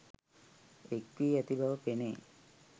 එක්වී ඇති බව පෙනේ.